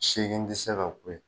Seegin tɛ se ka kun yen.